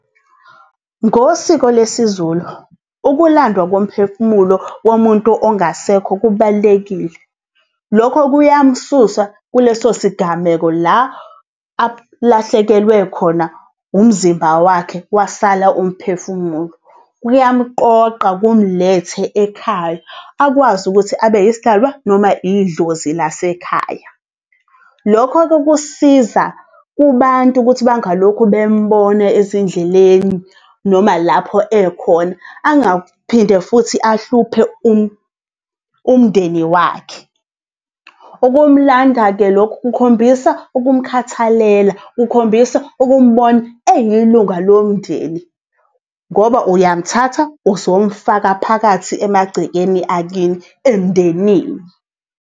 Ngosiko lesiZulu, ukulandwa komphefumulo womuntu ongasekho kubalulekile. Lokho kuyamsusa kuleso sigameko la alahlekelwe khona umzimba wakhe wasala umphefumulo, kuyamqoqa kumlethe ekhaya akwazi ukuthi abeyisidalwa noma idlozi lasekhaya. Lokho-ke kusisiza kubantu ukuthi bangalokhu bembona ezindleleni noma lapho ekhona, angaphinde futhi ahluphe umndeni wakhe. Ukumlanda-ke lokhu kukhombisa ukumkhathalela, kukhombisa ukumbona eyilunga lomndeni ngoba uyamthatha uzomfaka phakathi emagcekeni akini emndenini.